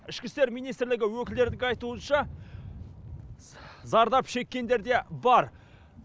ішкі істер министрлігі өкілдерінің айтуынша зардап шеккендер де бар